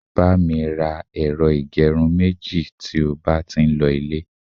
ba mi ra ẹrọ igerun meji ti o ba ti n lo ile